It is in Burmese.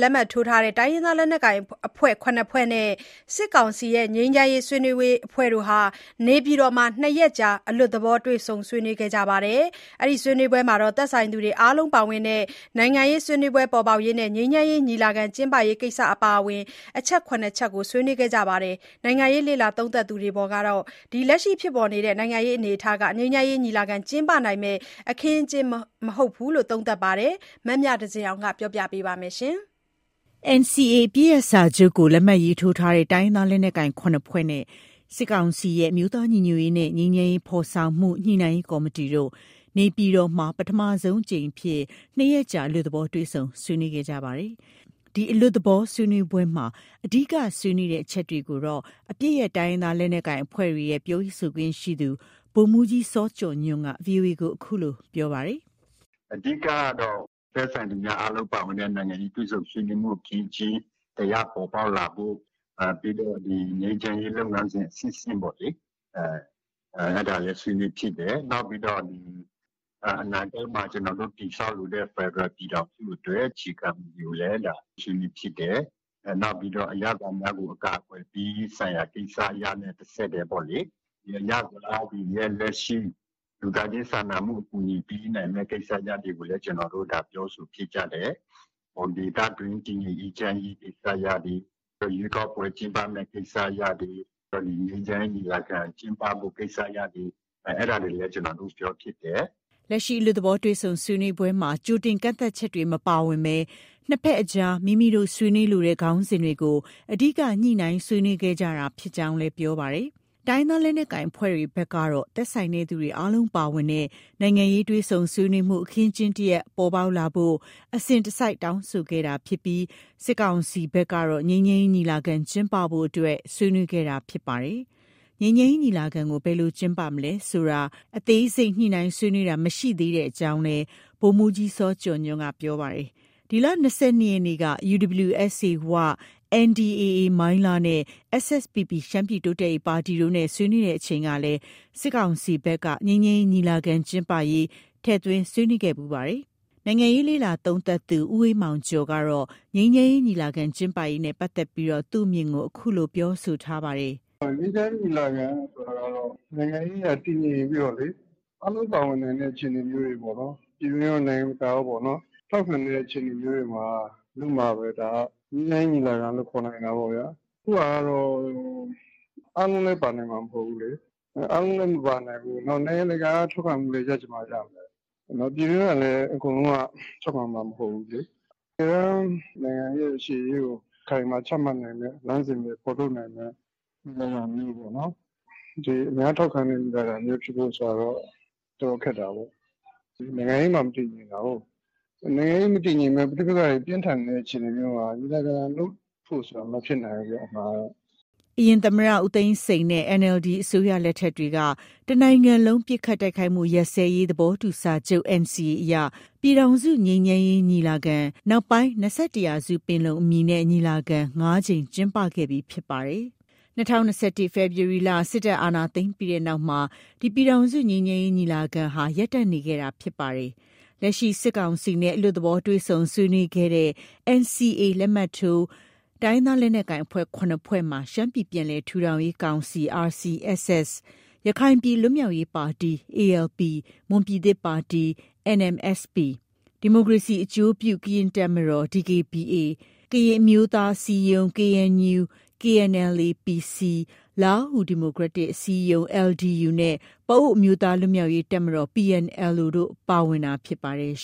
လက်မှတ်ထိုး တိုင်းရင်းသားလက်နက်ကိုင် ၇ ဖွဲ့နဲ့ စစ်ကောင်စီရဲ့ ငြိမ်းချမ်းရေးဆွေးနွေးရေးအဖွဲ့တို့ နေပြည်တော်မှာ ၂ ရက်ကြာ အလွတ်သဘော တွေ့ဆုံဆွေးနွေးခဲ့ရာမှာ သက်ဆိုင်သူတွေအားလုံးပါဝင်တဲ့ နိုင်ငံရေးဆွေးနွေးပွဲ ပေါ်ပေါက်ရေးနဲ့ ငြိမ်းချမ်းရေး ညီလာခံ ကျင်းပရေးကိစ္စ အပါအဝင် အချက် ၇ ချက် ဆွေးနွေးခဲ့ပါတယ်။ နိုင်ငံရေးလေ့လာသုံးသပ်သူတွေကတော့ လက်ရှိဖြစ်ပေါ်နေတဲ့ အနေအထားဟာ ငြိမ်းချမ်းရေးညီလာခံ ကျင်းပဖို့ ဖြစ်နိုင်မယ့်အခင်းအကျင်း မဟုတ်ကြောင်း သုံးသပ်တာတွေ ရှိနေပါတယ်။ ရန်ကုန်က ပေးပို့တဲ့ဒီသတင်းကို အခြေခံပြီး မမြသဇင်အောင်က တင်ပြပေးပါမယ်။ NCA အပစ်ရပ်စာချုပ်ကို လက်မှတ် ရေးထိုးထားတဲ့ တိုင်းရင်းသားလက်နက်ကိုင် ၇ ဖွဲ့နဲ့ စစ်ကောင်စီရဲ့ အမျိုးသားညီညွတ်ရေးနဲ့ ငြိမ်းချမ်းရေး ဖော်ဆောင်မှု ညှိနှိုင်းရေးကော်မတီတို့ နေပြည်တော်မှာ ပထမဆုံးအကြိမ်အဖြစ် ၂ ရက်ကြာ အလွတ်သဘော တွေ့ဆုံဆွေးနွေးခဲ့ကြတာပါ။ ဒီအလွတ်သဘောဆွေးနွေးပွဲမှာ အဓိက ဆွေးနွေးတဲ့အချက်တွေကိုတော့ အပစ်ရပ် တိုင်းရင်းသားလက်နက်ကိုင်အဖွဲ့တွေရဲ့ ပြောရေးဆိုခွင့်ရှိသူ ဗိုလ်မှုးကြီး စောကျော်ညွှန့်က VOA ကို အခုလို ပြောပါတယ်။ “အဓိကကတော့ သက်ဆိုင်သူများအားလုံးပါဝင်တဲ့ နိုင်ငံရေးတွေ့ဆုံဆွေးနွေးမှု အခင်းအကျင်း တစ်ရပ်ပေါ်ပေါက်လာဖို့၊ ပြီးတော့ ငြိမ်းချမ်းရေး လုပ်ငန်းစဉ်အဆင့်ဆင့်ပေါ့လေ၊ အဲဒါလည်း ဆွေးနွေးဖြစ်တယ်။ နောက်ပြီးတော့ ဒီအနာဂတ်မှာ ကျနော်တို့ တည်ဆောက်လိုတဲ့ ဖက်ဒရယ် ပြည်ထောင်စုအတွက် အခြေခံမူတွေကိုလည်း ဆွေးနွေးဖြစ်တယ်။ နောက်ပြီးတော့ အရပ်သားများကို အကာအကွယ်ပေးရေး ဆိုင်ရာကိစ္စရပ်နဲ့ တဆက်တည်းပေါ့လေ။ အရပ်သားတွေရဲ့ လက်ရှိ လူသားချင်းစာနာမှုဆိုင်ရာ အကူအညီပေးရေး ကိစ္စရပ်တွေကိုလည်း ပြောဆိုဖြစ်ကြတယ်။ ဒေသတွင်း တည်ငြိမ်အေးချမ်းရေးကိစ္စရပ်တွေ၊ ရွေးကောက်ပွဲ ကျင်းပမယ့် ကိစ္စရပ်တွေ၊ ဒီငြိမ်းချမ်းရေးညီလာခံ ကျင်းပဖို့ ကိစ္စရပ်တွေ အဲဒါတွေလည်း ကျနော်တို့ ပြောဖြစ်တယ်။” လက်ရှိ အလွတ်သဘော တွေ့ဆုံဆွေးနွေးပွဲမှာ ကြိုတင်ကန့်သတ်ချက်တွေ မပါဝင်ဘဲ နှစ်ဘက်အကြားမိမိတို့ ဆွေးနွေးလိုတဲ့ ခေါင်းစဉ်တွေကို အဓိက ညှိနှိုင်းဆွေးနွေးခဲ့ကြတာ ဖြစ်ကြောင်းလည်း ပြောပါတယ်။ တိုင်းရင်းသား လက်နက်ကိုင်အဖွဲ့တွေဘက်ကတော့ သက်ဆိုင်သူများအားလုံး ပါဝင်တဲ့ နိုင်ငံရေး တွေ့ဆုံဆွေးနွေးမှု အခင်းအကျင်း တစ်ရပ်ပေါ်ပေါက်လာဖို့ကို အစဉ်တစိုက် တောင်းဆိုခဲ့တာဖြစ်ပြီး စစ်ကောင်စီဘက်ကတော့ ငြိမ်းချမ်းရေးညီလာခံ ကျင်းပဖို့အတွက် ဆွေးနွေးခဲ့တာ ဖြစ်ပါတယ်။ ငြိမ်းချမ်းရေးညီလာခံကို ဘယ်လိုကျင်းပမယ်ဆိုတာကိုတော့ အသေးစိတ် ညှိနှိုင်းဆွေးနွေးတာ မရှိသေးကြောင်းလည်း ဗိုလ်မှုးကြီး စောကျော်ညွှန့်က ပြောပါတယ်။ ဒီလ ၂၂ရက်နေ့က UWSA ဝ၊ NDAA မိုင်းလားနဲ့ SSPP ရှမ်းပြည်တိုးတက်ရေးပါတီတို့နဲ့ ဆွေးနွေးစဉ်ကလည်း စစ်ကောင်စီဘက်က ငြိမ်းချမ်းရေးညီလာခံ ကျင်းပရေးကို ထည့်သွင်း ဆွေးနွေးခဲ့ဖူးပါတယ်။ နိုင်ငံရေးလေ့လာသုံးသပ်သူ ဦးအေးမောင်ကျော်ကတော့ ငြိမ်းချမ်းရေးညီလာခံ ကျင်းပရေးနဲ့ပတ်သက်ပြီး သူ့အမြင်ကို အခုလို ပြောဆိုထားပါတယ်။ “ငြိမ်းချမ်းရေးညီလာခံဆိုတာကတော့ နိုင်ငံရေးအရ တည်ငြိမ်ပြီးတော့လေ အားလုံးပါဝင်နိုင်တဲ့ အခြေအနေမျိုးတွေ ပေါ့လေ။ ပြည်တွင်းရော၊ နိုင်ငံတကာကရော ထောက်ခံနေတဲ့ အခြေအနေမျိုးတွေမှာ လုပ်မှပဲ ငြိမ်းချမ်းရေးညီလာခံလို့ ခေါ်နိုင်တာပေါ့ဗျာ။ အခုဟာကတော့ အားလုံးလည်း ပါနိုင်မှာ မဟုတ်ဘူးလေ။ အားလုံးလည်း မပါနိုင်ဘူး။ နောက် နိုင်ငံတကာရဲ့ထောက်ခံမှုလည်း ရချင်မှ ရမယ်။ ပြည်တွင်းကလည်း အကုန်လုံးက ထောက်ခံမှာ မဟုတ်ဘူးလေ။ တကယ်တမ်း နိုင်ငံရဲ့ရှေ့ရေးကို အခိုင်အမာ ချမှတ်နိုင်မယ့် လမ်းစဉ်တွေ ဖော်ထုတ်နိုင်မယ့် ညီလာခံမျိုးပေါ့နော်။ ဒီအများထောက်ခံတဲ့ ညီလာခံမျိုးဖြစ်ဖို့ဆိုတာတော့ တော်တော်ခက်တာပေါ့။ နိုင်ငံရေးမှ မတည်ငြိမ်တာကိုး။ နိုင်ငံရေးမတည်ငြိမ်ဘဲ ပဋိပက္ခတွေ ပြင်းထန်နေတဲ့အခြေအနေမျိုးမှာ ညီလာခံလုပ်ဖို့ ဆိုတာ မဖြစ်နိုင်ဘူးဗျ။” အရင် သမ္မတ ဦးသိန်းစိန်နဲ့ NLD အစိုးရလက်ထက်တွေက တစ်နိုင်ငံလုံး ပစ်ခတ်တိုက်ခိုက်မှုရပ်စဲရေး သဘောတူစာချုပ် NCA အရ ပြည်ထောင်စု ငြိမ်းချမ်းရေးညီလာခံ ၊ နောက်ပိုင်း ၂၁ ရာစု ပင်လုံအမည်နဲ့ ညီလာခံ ၅ ကြိမ် ကျင်းပခဲ့ပြီး ဖြစ်ပါတယ်။ ၂၀၂၁ ဖေဖော်ဝါရီလ စစ်တပ်က အာဏာသိမ်းပြီး နောက်မှာတော့ ဒီ ပြည်ထောင်စု ငြိမ်းချမ်းရေးညီလာခံဟာ ရပ်တန့်နေခဲ့တာ ဖြစ်ပါတယ်။ လက်ရှိ စစ်ကောင်စီနဲ့ အလွတ်သဘော တွေ့ဆုံဆွေးနွေးခဲ့တဲ့ NCA လက်မှတ်ထိုး တိုင်းရင်းသားလက်နက်ကိုင်အဖွဲ့ ၇ ဖွဲ့မှာ ရှမ်းပြည် ပြန်လည်ထူထောင်ရေးကောင်စီ (RCSS)၊ ရခိုင်ပြည်လွတ်မြောက်ရေးပါတီ (ALP)၊ မွန်ပြည်သစ်ပါတီ (NMSP)၊ ဒီမိုကရေစီအကျိုးပြု ကရင့်တပ်မတော် (DKBA)၊ ကရင်အမျိုးသားအစည်းအရုံး (KNU/KNLA-PC)၊ လားဟူးဒီမိုကရက်တစ် အစည်းအရုံး (LDU)နဲ့ ပအိုဝ်းအမျိုးသားလွှတ်မြောက်ရေးတပ်မတော် (PNLO) တို့ ပါဝင်တာ ဖြစ်ပါတယ်။